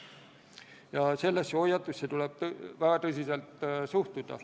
Ja sellesse hoiatusse tuleb väga tõsiselt suhtuda.